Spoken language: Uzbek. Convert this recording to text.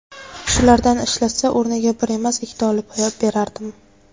Shulardan ishlatsa o‘rniga bir emas, ikkita olib berardim.